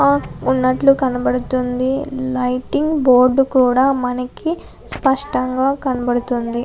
ఆ ఉన్నట్లు కనబడుతుంది లైటింగ్ బోర్డు కూడా మనకి స్పష్టంగా కనబడుతుంది.